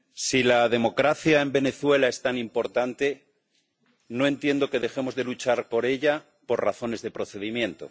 Señor presidente, si la democracia en Venezuela es tan importante, no entiendo que dejemos de luchar por ella por razones de procedimiento.